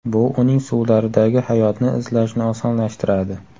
Bu uning suvlaridagi hayotni izlashni osonlashtiradi.